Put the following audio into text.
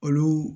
Olu